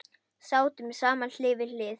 Sátum saman hlið við hlið.